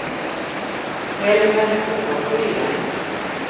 Helmer Ågren